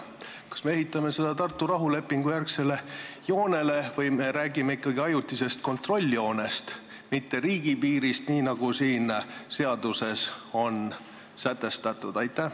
Kas me ehitame seda Tartu rahulepingu järgsele joonele või me räägime ikkagi ajutisest kontrolljoonest, mitte riigipiirist, nii nagu siin seaduseelnõus on sätestatud?